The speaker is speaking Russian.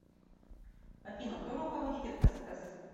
афина кто руководитель эсэс